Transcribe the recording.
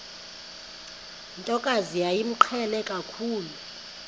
ntokazi yayimqhele kakhulu